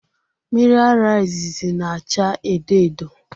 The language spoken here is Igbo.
Miri ara izizi na-achaa edo edo.